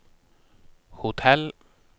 hotell